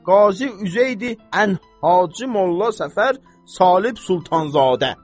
Qazi Üzeydi Ən Hacı Molla Səfər Salib Sultanzadə.